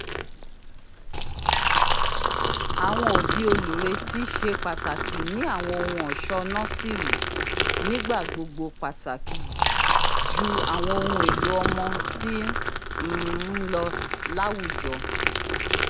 awọn obi olureti ṣe pataki ni awọn ohun-ọṣọ nọsìrì nigbagbogbo pàtàkì ju awọn ohùn èlò ọmọ ti um nlọ láwùjọ